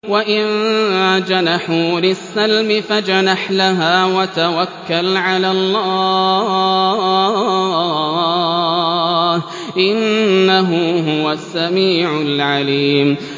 ۞ وَإِن جَنَحُوا لِلسَّلْمِ فَاجْنَحْ لَهَا وَتَوَكَّلْ عَلَى اللَّهِ ۚ إِنَّهُ هُوَ السَّمِيعُ الْعَلِيمُ